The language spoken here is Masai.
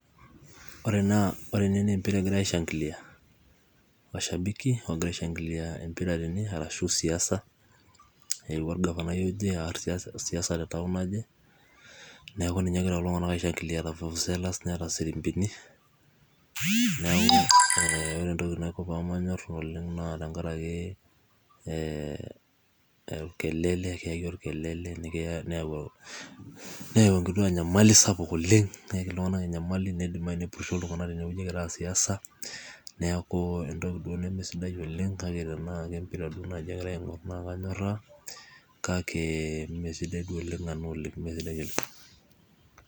ore ene naa empira egirae, aeshangilia, mashabiki, oogira aeshankilia, empira tene arashu siasa, eewuo orgafanai aas siasa te nkop naje, neeku ninche egira kulo tung'anak aishankilia te fufusela. neeta sirimpini, ore entoki naiko pee manyor oleng' naa tenkaraki ee orkelele, keyaki orkelele, neyau enkituaaa nyamali sapuk oleng, keyaki iltung'anak enyamali, neidimayu nepurisho iltung'anak tenewueji egira aar siasa. neeku entoki duo nemesidai oleng', kake tenaa kempira duo egirae aaing'or naa kanyoraa, kake mme sidai duo oleng.